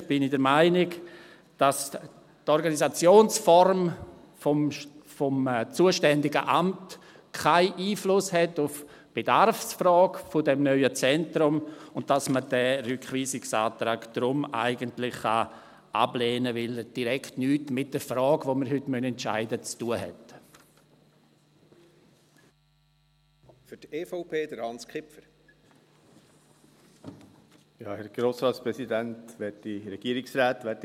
Persönlich bin ich der Meinung, dass die Organisationsform des zuständigen Amts keinen Einfluss auf die Bedarfsfrage dieses neuen Zentrums hat und dass man diesen Rückweisungsantrag eigentlich ablehnen kann, weil er mit der Frage, die wir heute entscheiden müssen, nicht direkt zu tun hat.